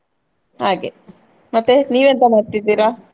ಹಾಗೆ, ಮತ್ತೆ ನೀವೆಂತ ಮಾಡ್ತಿದ್ದೀರಾ?